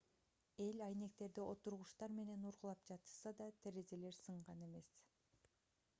эл айнектерди отургучтар менен ургулап жатышса да терезелер сынган эмес